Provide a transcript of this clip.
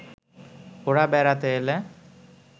ওঁরা বেড়াতে এলে